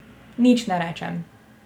Nič ne rečem.